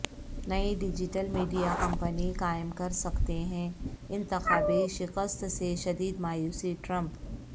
نئی digital media company قائم کر سکتے ہیں انتخابی شکست سے شدید مایوس ٹرمپ